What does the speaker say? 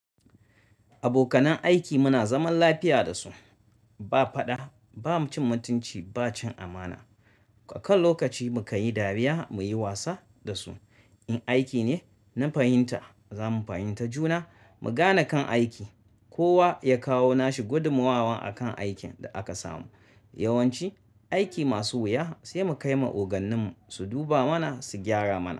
Abokan aiki muna zaman lafiya dasu ba faɗa ba, ba mutunci ba cin amana. A kowane lokaci mukan yi dariya muyi wasa dasu. In aiki ne na fahimta za mu fahimta juna mu gane kan aiki. Kowa ya kawo nashi gudumawa akan aikin da aka samu. Yawanci aiki masu wuya sai mu kai ma ogannin su duba mana su gyara mana.